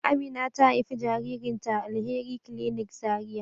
Amina ta haifi jaririn ta a Alheri clinic Zaria